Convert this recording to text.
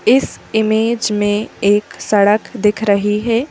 इस इमेज में एक सड़क दिख रही है।